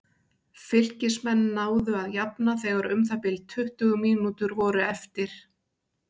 Fylkismenn náðu að jafna þegar um það bil tuttugu mínútur voru eftir.